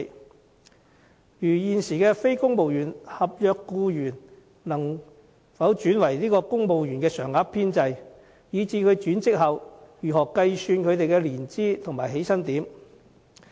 例如，現時非公務員合約僱員可否轉為加入公務員常額編制，若可以這樣轉職，又應如何計算他們的年資和起薪點呢？